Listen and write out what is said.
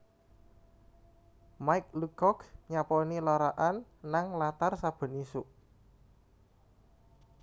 Mike Lucock nyaponi lara'an nang latar saben isuk